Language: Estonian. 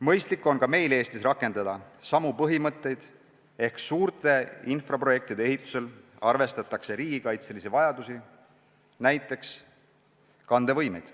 Mõistlik on ka meil Eestis rakendada samu põhimõtteid ehk arvestada suurte infrastruktuuriprojektide ehitusel ka riigikaitselisi vajadusi, näiteks kandevõimeid.